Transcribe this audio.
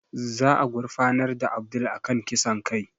Za a gurfanar da Abdul a kan kisan kai